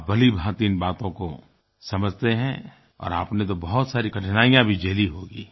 आप भलीभाँति इन बातों को समझते हैं और आपने तो बहुत सारी कठिनाइयाँ भी झेली होंगी